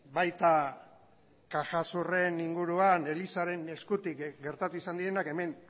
baita caja suren inguruan elizaren eskutik gertatu izan direnak hemen